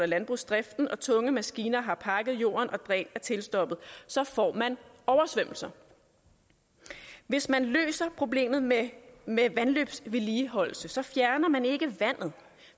landbrugsdriften og tunge maskiner har pakket jorden og dræn er tilstoppet så får man oversvømmelser hvis man løser problemet med med vandløbsvedligeholdelse fjerner man ikke vandet